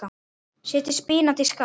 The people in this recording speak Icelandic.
Setjið spínat í skál.